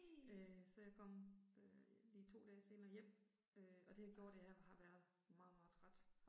Øh så jeg kom øh lige 2 dage senere hjem øh og det har gjort at jeg har været meget meget træt